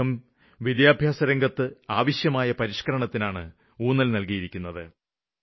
അദ്ദേഹം വിദ്യാഭ്യാസരംഗത്ത് ആവശ്യമായ പരിഷ്ക്കരണത്തിനാണ് ഊന്നല് നല്കിയത്